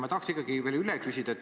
Ma tahan ikkagi veel üle küsida.